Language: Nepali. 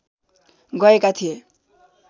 गएका थिए